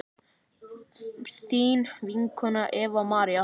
þín vinkona Eva María.